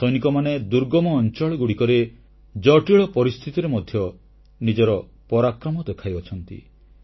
ଆମ ସୈନିକମାନେ ଦୁର୍ଗମ ଅଂଚଳଗୁଡ଼ିକରେ ଜଟିଳ ପରିସ୍ଥିତିରେ ମଧ୍ୟ ନିଜର ପରାକ୍ରମ ଦେଖାଇଛନ୍ତି